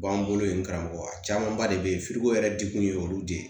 B'an bolo yen karamɔgɔya camanba de be ye yɛrɛ de kun ye olu de ye